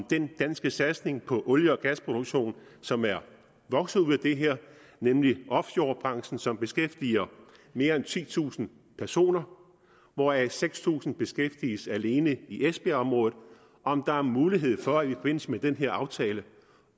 den danske satsning på olie og gasproduktion som er vokset ud af det her nemlig offshorebranchen som beskæftiger mere end titusind personer hvoraf seks tusind beskæftiges alene i esbjergområdet og om der er mulighed for i forbindelse med den her aftale